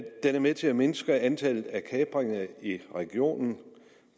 er med til at mindske antallet af kapringer i regionen